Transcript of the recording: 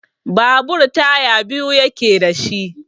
Babur taya biyu yake da shi.